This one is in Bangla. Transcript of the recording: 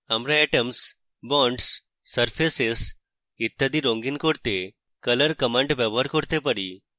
আমরা atoms bonds surfaces ইত্যাদি রঙ্গিন করতে color command ব্যবহার করতে পারি